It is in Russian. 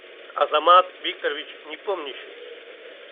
азамат викторович непомнящий